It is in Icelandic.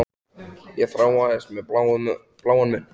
Ég þráaðist við með bláan munn.